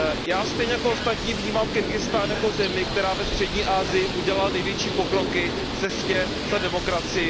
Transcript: Já stejně jako ostatní vnímám Kyrgyzstán jako zemi, která ve střední Asii udělala největší pokroky v cestě za demokracií.